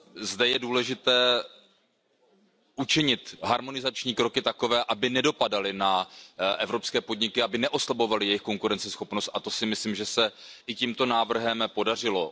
Zde je důležité učinit harmonizační kroky takové, aby nedopadaly na evropské podniky, aby neoslabovaly jejich konkurenceschopnost, a to si myslím, že se i tímto návrhem podařilo.